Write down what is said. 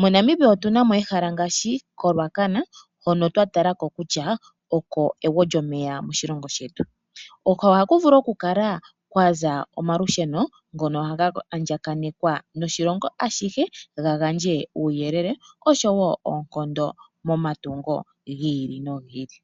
MoNamibia otu na mo ehala ngaashi koRuacana hono twa tala kutya oko egwo lyomeya moshilongo shetu. Ohaku vulu okukala kwa za omalusheno ngono ga andjaganekwa noshilongo ashihe ga gandje uuyelele nosho wo oonkondo momatungo gi ili nogi ili.